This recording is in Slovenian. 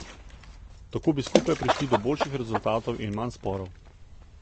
Tako bi skupaj prišli do boljših rezultatov in manj sporov.